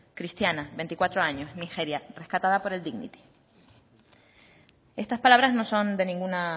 christiana veinticuatro años nigeria rescatada por el dignity estas palabras no son de ninguna